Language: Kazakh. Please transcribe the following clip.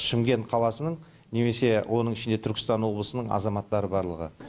шымкент қаласының немесе оның ішінен түркістан облысының азаматтары барлығы